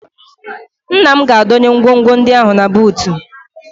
Nna m ga-adọnye ngwongwo ndị ahụ na buutu